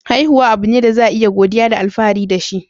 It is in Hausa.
Haihuwa abu ne da za a yi godiya da alfahari da shi.